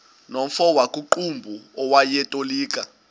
nomfo wakuqumbu owayetolika